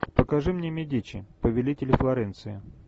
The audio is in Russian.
покажи мне медичи повелители флоренции